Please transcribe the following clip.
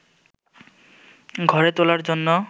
ঘরে তোলার জন্য